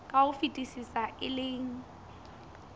ka ho fetisisa e leng